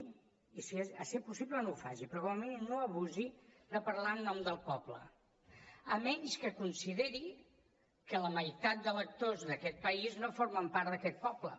si és possible no ho faci però igualment no abusi de parlar en nom del poble a menys que consideri que la meitat d’electors d’aquest país no formen part d’aquest poble